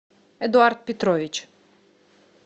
эдуард петрович